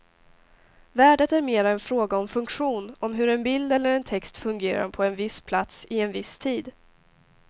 Värdet är mera en fråga om funktion, om hur en bild eller en text fungerar på en viss plats i en viss tid.